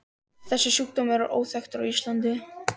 Þessi sjúkdómur er óþekktur á Íslandi.